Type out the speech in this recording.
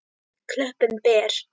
Klöppin ber.